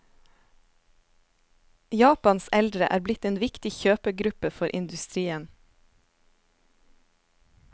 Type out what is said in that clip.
Japans eldre er blitt en viktig kjøpegruppe for industrien.